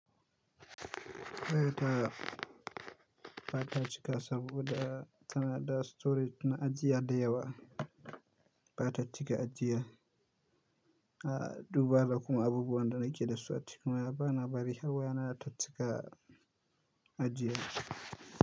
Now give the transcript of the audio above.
Waya ta ba ta cika saboda tanada storage na ajiya da yawa ba ta cika ajiya. A duba da kuma abubuwan da nake dasu a cikin waya ba na bari harwa yana tattika ajiya.